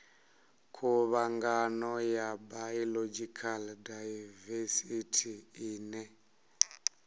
khuvhangano ya biological daivesithi ine